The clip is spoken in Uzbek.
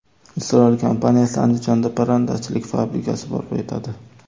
Isroil kompaniyasi Andijonda parrandachilik fabrikasi barpo etadi.